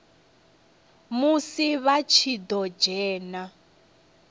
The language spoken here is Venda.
musi vha tshi ḓo dzhena